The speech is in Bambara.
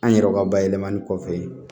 An yɛrɛ ka bayɛlɛmali kɔfɛ